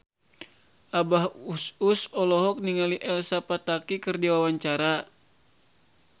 Abah Us Us olohok ningali Elsa Pataky keur diwawancara